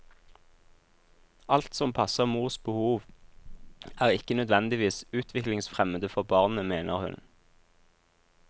Alt som passer mors behov, er ikke nødvendigvis utviklingsfremmende for barnet, mener hun.